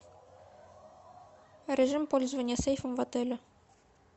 режим пользования сейфом в отеле